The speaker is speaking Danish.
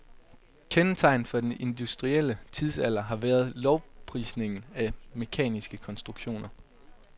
Kendetegnet for den industrielle tidsalder har været lovprisningen af mekaniske konstruktioner.